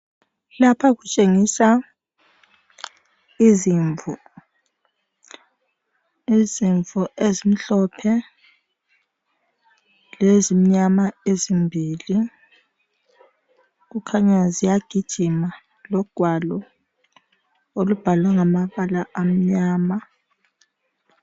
Lapha kutshengisa izimvu. Izimvu ezimhlophe lezimnyama ezimbili. Kukhanya ziyagijima. Lugwalo olubhalwe ngamabala amnyama